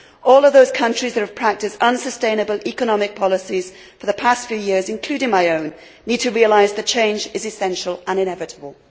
All of those countries that have practised unsustainable economic policies for the past few years including my own need to realise that change is essential and inevitable.